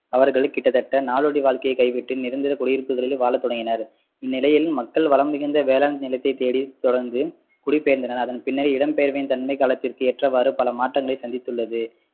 அவர்கள் கிட்டத்தட்ட நாடோடி வாழ்க்கையை கைவிட்டு நிரந்தர குடியிருப்புகளில் வாழத்தொடங்கினர் இந்நிலையில் மக்கள் வளம் நிறைந்த வேளாண் நிலத்தை தேடி தொடர்ந்து குடிபெயர்ந்தனர் அதன் பின்னர் இடம்பெயர்வின் தன்மை காலத்திற்கு ஏற்றவாறு பல மாற்றங்களை சந்தித்துள்ளது